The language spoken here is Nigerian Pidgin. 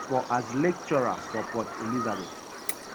for as lecturer for port elizabeth. um